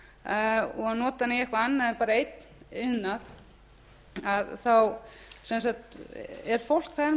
okkur og nota hana í eitthvað annað en bara einn iðnað þá er fólk